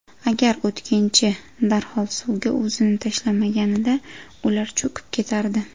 Agar o‘tkinchi darhol suvga o‘zini tashlamaganida ular cho‘kib ketardi.